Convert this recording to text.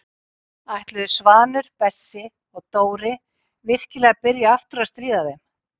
Ætluðu Svanur, Bessi og Dóri virkilega að byrja aftur að stríða þeim?